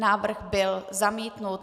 Návrh byl zamítnut.